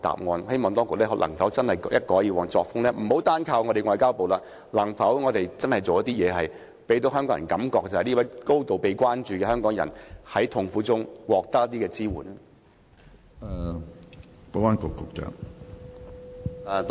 我希望當局一改以往的作風，可否不要單靠外交部，而是做些實事，讓市民覺得這名被高度關注的香港人在痛苦中也能得到一些支援？